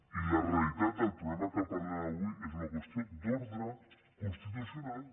i la realitat del problema que parlem avui és una qüestió d’ordre constitucional